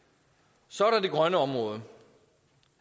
så er der det grønne område